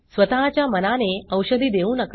स्वतःच्या मनाने औषधे देऊ नका